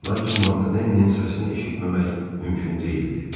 Lakin Montanellinin səsini eşitməmək mümkün deyildi.